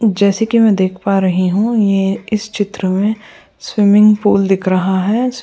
जैसे कि मैं देख पा रही हूं ये इस चित्र में स्विमिंग पूल दिख रहा है।